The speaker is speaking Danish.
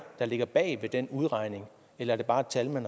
der ligger bag den udregning eller er det bare et tal man